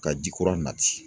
Ka ji kura nati.